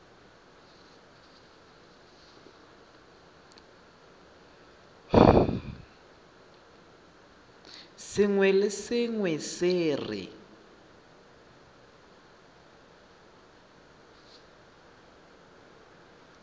sengwe le sengwe se re